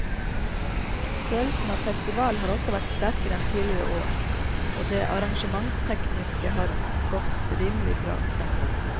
Følelsen av festival har også vært sterkere enn tidligere år og det arrangementstekniske har godt rimelig bra.